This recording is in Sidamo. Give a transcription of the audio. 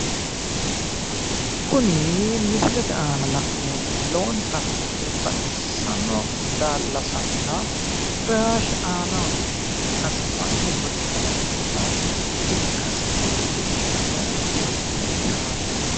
Kuni misilete aana la'neemmohu lowontanni baxisanno daallasanna firaashe aanaho noota ikkasi mannu goxe galannota ikkasi leellishanno firaasheeti